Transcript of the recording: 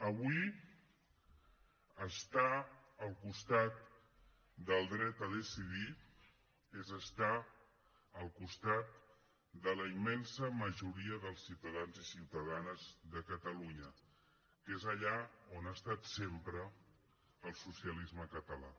avui estar al costat del dret a decidir és estar al costat de la immensa majoria dels ciutadans i ciutadanes de catalunya que és allà on ha estat sempre el socialisme català